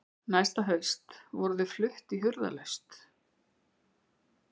Næsta haust voru þau flutt í hurðarlaust.